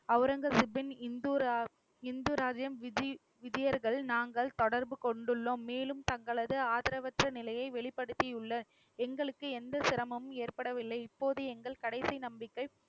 அவுரங்கசீப்பின் இந்துரா~ இந்துராஜ்யம் விஜி~ விஜியர்கள் நாங்கள் தொடர்பு கொண்டுள்ளோம். மேலும் தங்களது ஆதரவற்ற நிலையை வெளிப்படுத்தியுள்ள எங்களுக்கு எந்த சிரமமும் ஏற்படவில்லை. இப்போது எங்கள் கடைசி நம்பிக்கை